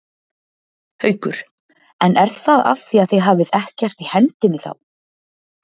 Haukur: En er það af því að þið hafið ekkert í hendinni þá?